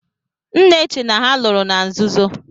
M na-che na ha lụrụ na nzuzo.